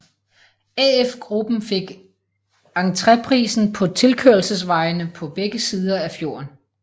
AF Gruppen fik entreprisen på tilkørselsvejene på begge sider af fjorden